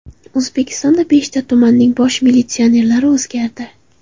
O‘zbekistonda beshta tumanning bosh militsionerlari o‘zgardi.